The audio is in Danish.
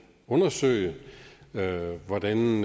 undersøge hvordan